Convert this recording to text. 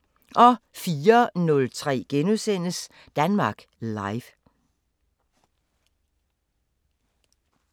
04:03: Danmark Live *